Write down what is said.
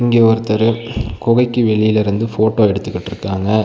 இங்க ஒருத்தரு கொகைக்கு வெளிலருந்து ஃபோட்டோ எடுத்துக்குட்ருக்காங்க.